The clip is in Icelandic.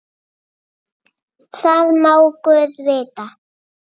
Það má guð vita.